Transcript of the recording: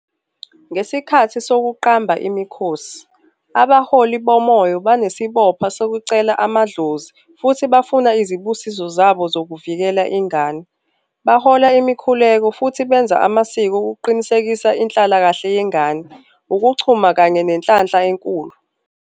Ngesikhathi sokuqamba imikhosi, abaholi bomoya banesibopha sokucela amadlozi futhi bafuna izibusiso zabo zokuvikela ingane. Bahola imikhuleko futhi benza amasiko ukuqinisekisa inhlala kahle yengane, ukuchuma kanye nenhlanhla enkulu.